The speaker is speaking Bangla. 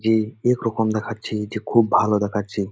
যে এক রকম দেখাচ্ছে যে খুব ভালো দেখাচ্ছে।